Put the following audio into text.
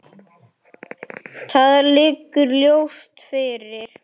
Það liggur ljóst fyrir.